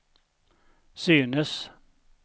synes